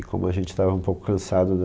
E como a gente tava um pouco cansado da...